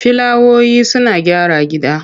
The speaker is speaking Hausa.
Filawoyi suna gyara gida.